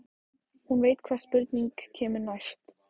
Hún veit hvaða spurning kemur næst.